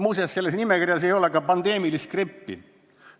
Muuseas, selles nimekirjas ei ole ka pandeemilist grippi.